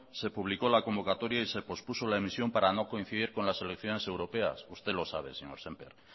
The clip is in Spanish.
se publicó la convocatoria y se pospuso la emisión para no coincidir con las elecciones europeas usted lo sabe señor sémper